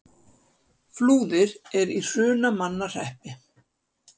Flúðir er í Hrunamannahreppi.